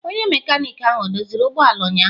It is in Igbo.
Onye mekaniki ahụ o doziri ụgbọ ala ụnyahụ?